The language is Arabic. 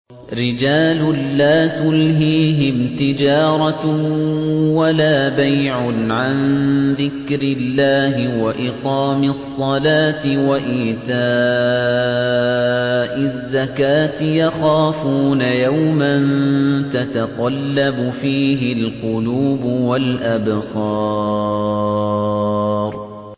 رِجَالٌ لَّا تُلْهِيهِمْ تِجَارَةٌ وَلَا بَيْعٌ عَن ذِكْرِ اللَّهِ وَإِقَامِ الصَّلَاةِ وَإِيتَاءِ الزَّكَاةِ ۙ يَخَافُونَ يَوْمًا تَتَقَلَّبُ فِيهِ الْقُلُوبُ وَالْأَبْصَارُ